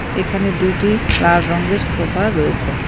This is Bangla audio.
এখানে দুইটি লাল রঙের সোফা রয়েছে.